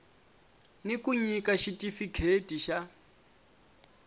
ni ku nyika xitifikheti xa